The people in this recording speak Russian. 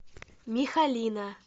михалина